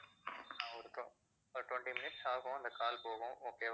ஆஹ் கா~ ஒரு ஒரு twenty minutes ஆகும் அந்த call போகும் okay